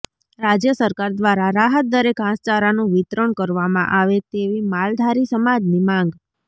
રાજય સરકાર દ્વારા રાહતદરે ઘાસચારાનું વિતરણ કરવામાં આવે તેવી માલધારી સમાજની માંગ